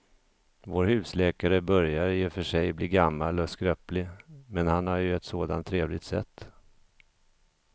Vår husläkare börjar i och för sig bli gammal och skröplig, men han har ju ett sådant trevligt sätt!